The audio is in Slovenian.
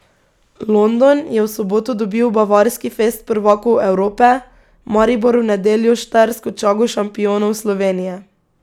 London je v soboto dobil bavarski fest prvakov Evrope, Maribor v nedeljo štajersko čago šampionov Slovenije.